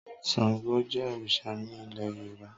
Sàngó jẹ́ òrìṣà ní ilé Yorùbá.